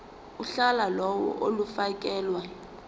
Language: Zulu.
uhla lawo olufakelwe